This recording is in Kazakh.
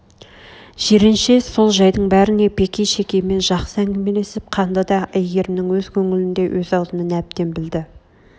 жиренше сол жайдың бәріне бекей шекеймен жақсы әңгімелесіп қанды да әйгерімнің өз көңілін де өз аузынан әбден білді